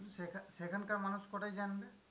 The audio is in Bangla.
সেখান~ সেখানকার মানুষ কটায় জানবে?